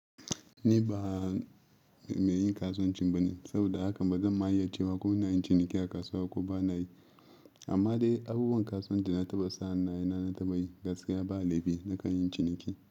Ni ba meyin kasuwancin bane, saboda haka ba zan ma yi iya cewa ko ina yin ciniki a kasuwa ko bana yi. Amma dai abubuwan kasuwanci na taɓa sani na taɓa yi, gaskiya ba laifi nakan yi ciniki.